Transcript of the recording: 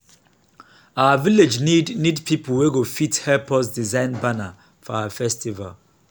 our village need need people wey go fit help us design banner for our festival